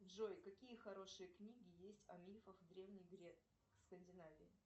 джой какие хорошие книги есть о мифах древней скандинавии